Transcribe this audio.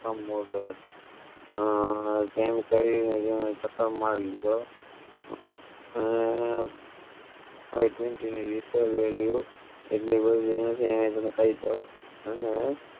અ અ તેમ કરી નમે તેનો ચક્કર માર લીધો અને I twenty ની research value કાઇજ દાવ અને